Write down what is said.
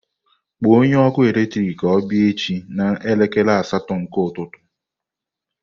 Kpọọ onye ọkụ eletrik ka ọ bịa echi n'elekere asatọ nke ụtụtụ